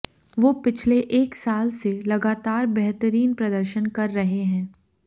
वो पिछले एक साल से लगातार बेहतरीन प्रदर्शन कर रहे हैं